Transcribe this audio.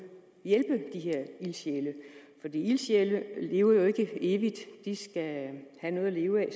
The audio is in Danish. hjælpe de her ildsjæle for ildsjæle lever jo ikke evigt de skal have noget at leve af